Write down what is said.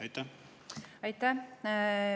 Aitäh!